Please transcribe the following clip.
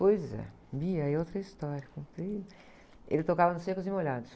Pois é, é outra história, ele tocava com o Secos e Molhados.